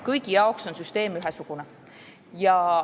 Kõigi jaoks on süsteem ühesugune.